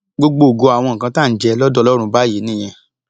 gbọgbògo àwọn nǹkan tá à ń jẹ lọdọ ọlọrun báyìí nìyẹn